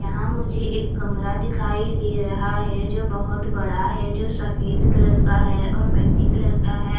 यहां मुझे एक कमरा दिखाई दे रहा है जो बहुत बड़ा है जो सफेद कलर का है और मिट्टी कलर का है.